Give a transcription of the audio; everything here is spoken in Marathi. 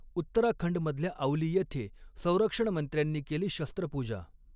उत्तराखंडमधल्या औली येथे संरक्षणमंत्र्यांनी केली शस्त्रपूजा